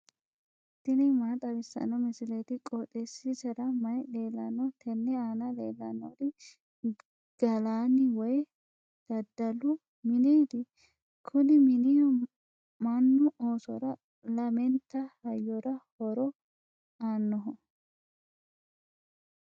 tini maa xawissanno misileeti? qooxeessisera may leellanno? tenne aana leellannori gallanni woy daddalu mineeti. kuni mini mannu oosora lamente hayyora horo aannoho.